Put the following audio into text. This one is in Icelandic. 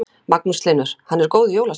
Magnús Hlynur: Hann er góður jólasveinn?